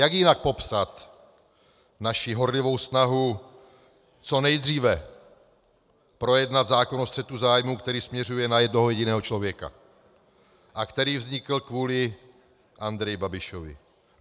Jak jinak popsat naši horlivou snahu co nejdříve projednat zákon o střetu zájmů, který směřuje na jednoho jediného člověka a který vznikl kvůli Andreji Babišovi?